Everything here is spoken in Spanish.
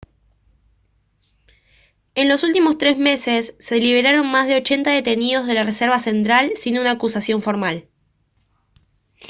en los últimos tres meses se liberaron más de 80 detenidos de la reserva central sin una acusación formal